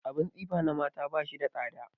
Abin tsifa na mata ba shi da tsada.